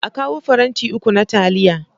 A kawo faranti uku na taliya.